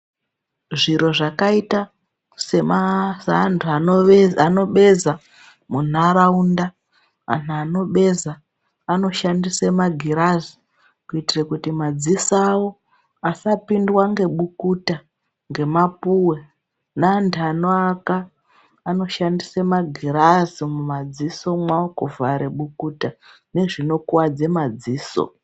Zviro zvakaita semaziantu anobeza munharaunda antu anobeza anoshandiswe magirazi kuite kuti madziso awo asapindwa ngebukuta ngemapuwe, ngeantu anoaaka anoshandiswe magirazi mumadziso mwawo kuvhare bukuta nezvinokuwadze madziso.